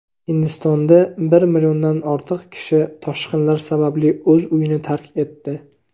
Hindistonda bir milliondan ortiq kishi toshqinlar sababli o‘z uyini tark etdi.